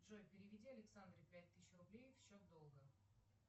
джой переведи александре пять тысяч рублей в счет долга